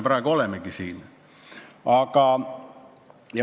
Praegu me olemegi nii kaugel.